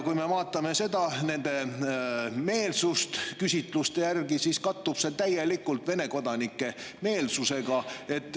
Kui me vaatame nende meelsust küsitluste järgi, siis näeme, et see kattub täielikult Vene kodanike meelsusega.